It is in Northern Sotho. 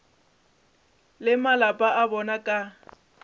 le malapa a bona ka